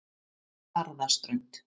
Barðaströnd